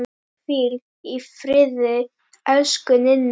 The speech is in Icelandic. Hvíl í friði, elsku Ninna.